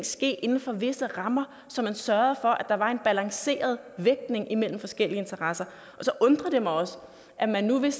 ske inden for visse rammer så man sørgede for at der var en balanceret vægtning imellem forskellige interesser og så undrer det mig også at man nu vil